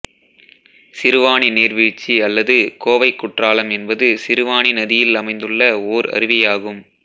சிறுவாணி நீர்வீழ்ச்சி அல்லது கோவை குற்றாலம் என்பது சிறுவாணி நதியில் அமைந்துள்ள ஓர் அருவியாகும்